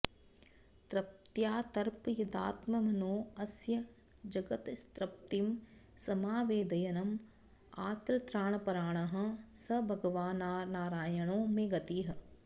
तृप्त्यातर्पयदात्मनोऽस्य जगतस्तृप्तिं समावेदयन् आर्तत्राणपराणः स भगवान्नारायणो मे गतिः